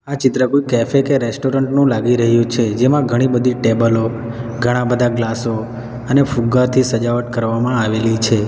આ ચિત્ર કોઈ કૅફે કે રેસ્ટોરન્ટ નું લાગી રહ્યું છે જેમાં ઘણી બધી ટેબલો ઘણા બધા ગ્લાસો અને ફુગ્ગાથી સજાવટ કરવામાં આવેલી છે.